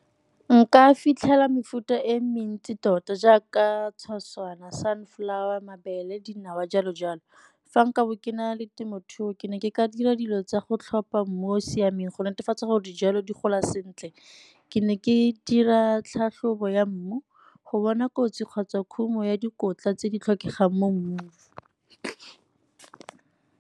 Nka fitlhela mefuta e mentsi tota jaaka tshoswana, sunflower, mabele, dinawa jalo jalo. Fa nka bo ke na le temothuo, ke ne ke ka dira dilo tsa go tlhopha mmu o o siameng go netefatsa gore dijalo di gola sentle. Ke ne ke dira tlhatlhobo ya mmu go bona kotsi kgotsa khumo ya dikotla tse di tlhokegang mo mmung.